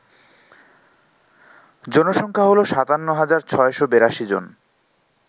জনসংখ্যা হল ৫৭৬৮২ জন